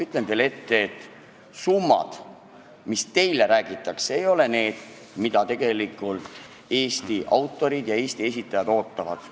Ütlen teile ette, et summad, millest teile räägitakse, ei ole need, mida Eesti autorid ja esitajad tegelikult ootavad.